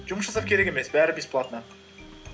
жұмыс жасап керек емес бәрі бесплатно